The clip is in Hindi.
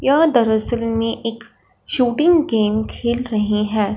यह दरसल मे एक शूटिंग गेम खेल रहे हैं।